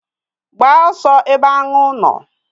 Gbaa osu ebe anu nu!